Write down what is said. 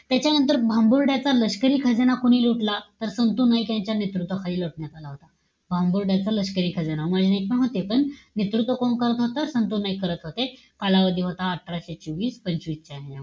त्याच्यानंतर भांबूर्ड्याच्या लष्करी खजाना कोणी लुटला? तर, संतू नाईक यांच्या नेतृत्वाखाली लुटण्यात आला होता. भांबूर्ड्याच्या लष्करी खजाना. नेतृत्व कोण करत होतं? संतू नाईक करत होते. कालावधी होता अठराशे चोवीस पंचवीस च्या.